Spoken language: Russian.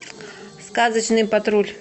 сказочный патруль